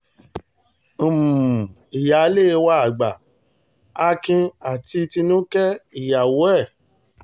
um ìyáálé wa àgbà akin àti tinúkẹ́ ìyàwó ẹ̀